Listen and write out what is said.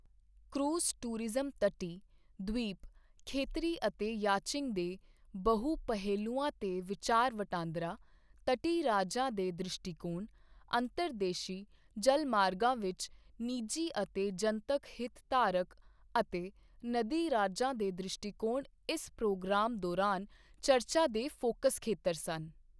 Cruise tourism ਤਟੀ, ਦ੍ਵੀਪ, ਖੇਤਰੀ ਅਤੇ ਯਾਚਿੰਗ ਦੇ ਬਹੁ ਪਹਿਲੂਆਂ ਤੇ ਵਿਚਾਰ ਵਟਾਂਦਰਾ, ਤਟੀ ਰਾਜਾਂ ਦੇ ਦ੍ਰਿਸ਼ਟੀਕੋਣ, ਅੰਤਰਦੇਸ਼ੀ ਜਲਮਾਰਗਾਂ ਵਿੱਚ ਨਿਜੀ ਅਤੇ ਜਨਤਕ ਹਿਤਧਾਰਕ ਅਤੇ ਨਦੀ ਰਾਜਾਂ ਦੇ ਦ੍ਰਿਸ਼ਟੀਕੋਣ ਇਸ ਪ੍ਰੋਗਰਾਮ ਦੌਰਾਨ ਚਰਚਾ ਦੇ ਫੋਕਸ ਖੇਤਰ ਸਨ।